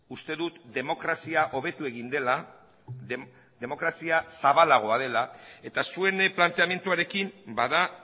uste dut demokrazia hobetu egin dela demokrazia zabalagoa dela eta zuen planteamenduarekin bada